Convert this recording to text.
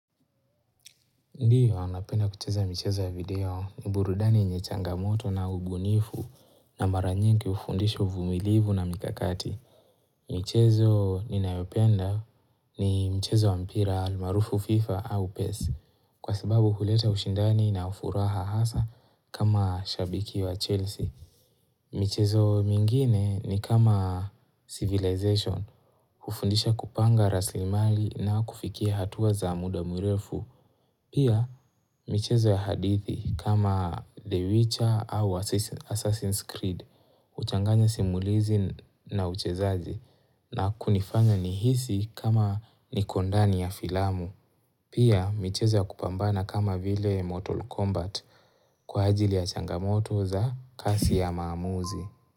Ndiyo anapenda kucheza michezo ya video ni burudani yenye changamoto na ubunifu na mara nyingi hufundisha uvumilivu na mikakati. Michezo ninayopenda ni michezo wa mpira almaarufu fifa au pes kwa sababu huleta ushindani na furaha hasa kama shabiki wa chelsea. Michezo mingine ni kama civilization hufundisha kupanga rasilimali inakufikia hatua za muda mrefu. Pia michezo ya hadithi kama The Witcher au Assassin's Creed, huchanganya simulizi na uchezaji na kunifanya nihisi kama niko ndani ya filamu. Pia michezo ya kupambana kama vile Mortal Kombat kwa ajili ya changamoto za kasi ya maamuzi.